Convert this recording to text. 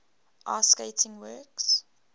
ice skating works